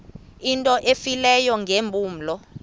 into efileyo ngeempumlo